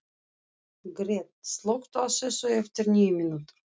Gret, slökktu á þessu eftir níu mínútur.